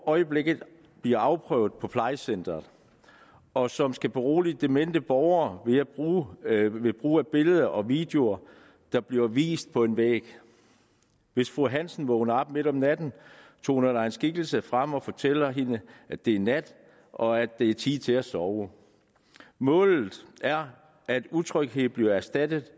øjeblikket bliver afprøvet på plejecenteret og som skal berolige demente borgere ved brug af billeder og videoer der bliver vist på en væg hvis fru hansen vågner op midt om natten toner der er en skikkelse frem og fortæller hende at det er nat og at det er tid til at sove målet er at utryghed bliver erstattet